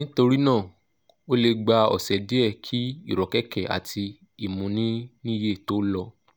nítorí náà ó lè gba ọ̀sẹ̀ díẹ̀ kí ìrọ́kẹ̀kẹ̀ àti ìmúniníyè tó lọ